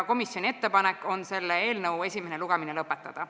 Komisjoni ettepanek on selle eelnõu esimene lugemine lõpetada.